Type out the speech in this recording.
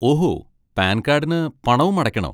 ഓഹോ, പാൻ കാഡിന് പണവും അടയ്ക്കണോ?